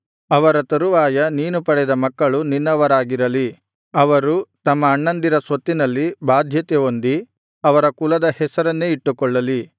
ಅವರ ತರುವಾಯ ನೀನು ಪಡೆದ ಮಕ್ಕಳು ನಿನ್ನವರಾಗಿರಲಿ ಅವರು ತಮ್ಮ ಅಣ್ಣಂದಿರ ಸ್ವತ್ತಿನಲ್ಲಿ ಬಾಧ್ಯತೆ ಹೊಂದಿ ಅವರ ಕುಲದ ಹೆಸರನ್ನೇ ಇಟ್ಟುಕೊಳ್ಳಲಿ